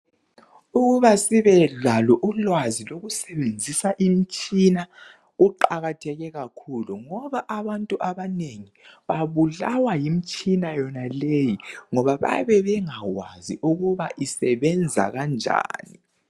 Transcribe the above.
Ukuba sibelalo ulwazi lokusebenzisa imtshina kuqakatheke kakhulu ngoba abantu abanengi babulawa yimtshina yonaleyi ngoba bayabe bengakwazi ukuthi isebenza kanjani.